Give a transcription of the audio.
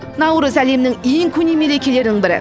наурыз әлемнің ең көне мерекелерінің бірі